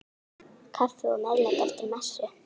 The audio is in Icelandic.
Kaffi og meðlæti eftir messu.